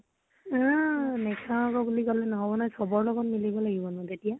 উম নেখাও আকৌ বুলি কলে নহব ন, চ্বৰ লগত মিলিব লাগব